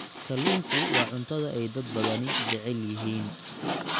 Kalluunku waa cuntada ay dad badani jecel yihiin.